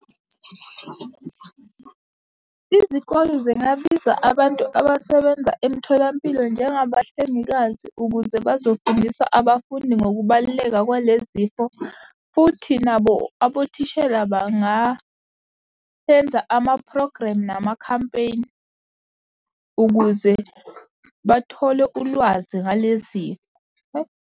Izikole zingabiza abantu abasebenza emtholampilo njengabahlengikazi ukuze bazofundisa abafundi ngokubaluleka kwale zifo, futhi nabo abothishela banga-enza amaphrogremu namakhampeyni ukuze bathole ulwazi ngalezi.